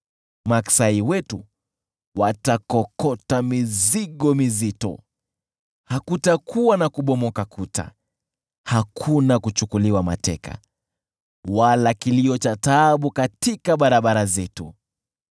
maksai wetu watakokota mizigo mizito. Hakutakuwa na kubomoka kuta, hakuna kuchukuliwa mateka, wala kilio cha taabu katika barabara zetu.